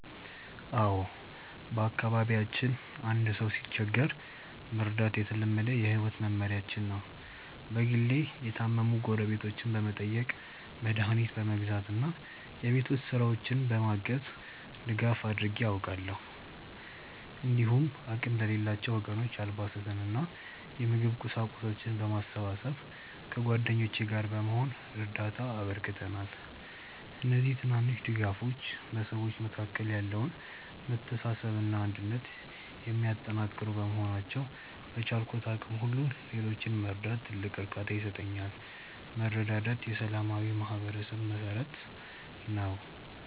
አዎ፣ በአካባቢያችን አንድ ሰው ሲቸገር መርዳት የተለመደ የህይወት መመሪያችን ነው። በግሌ የታመሙ ጎረቤቶችን በመጠየቅ፣ መድኃኒት በመግዛት እና የቤት ውስጥ ስራዎችን በማገዝ ድጋፍ አድርጌ አውቃለሁ። እንዲሁም አቅም ለሌላቸው ወገኖች አልባሳትንና የምግብ ቁሳቁሶችን በማሰባሰብ ከጓደኞቼ ጋር በመሆን እርዳታ አበርክተናል። እነዚህ ትናንሽ ድጋፎች በሰዎች መካከል ያለውን መተሳሰብና አንድነት የሚያጠናክሩ በመሆናቸው፣ በቻልኩት አቅም ሁሉ ሌሎችን መርዳት ትልቅ እርካታ ይሰጠኛል። መረዳዳት የሰላማዊ ማህበረሰብ መሠረት ነው።